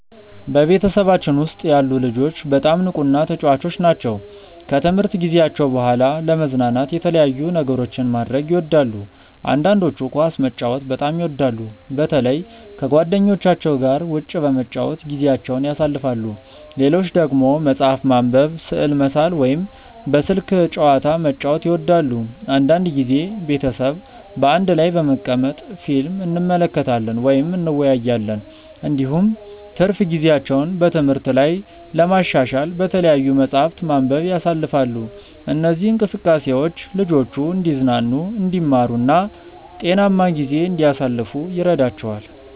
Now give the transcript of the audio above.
በቤተሰባችን ውስጥ ያሉ ልጆች በጣም ንቁና ተጫዋች ናቸው። ከትምህርት ጊዜያቸው በኋላ ለመዝናናት የተለያዩ ነገሮችን ማድረግ ይወዳሉ። አንዳንዶቹ ኳስ መጫወትን በጣም ይወዳሉ፣ በተለይ ከጓደኞቻቸው ጋር ውጭ በመጫወት ጊዜያቸውን ያሳልፋሉ። ሌሎች ደግሞ መጽሐፍ ማንበብ፣ ስዕል መሳል ወይም በስልክ ጨዋታ መጫወት ይወዳሉ። አንዳንድ ጊዜ ቤተሰብ በአንድ ላይ በመቀመጥ ፊልም እንመለከታለን ወይም እንወያያለን። እንዲሁም ትርፍ ጊዜያቸውን በትምህርት ላይ ለማሻሻል በተለያዩ መጻሕፍት ማንበብ ያሳልፋሉ። እነዚህ እንቅስቃሴዎች ልጆቹ እንዲዝናኑ፣ እንዲማሩ እና ጤናማ ጊዜ እንዲያሳልፉ ይረዳቸዋል።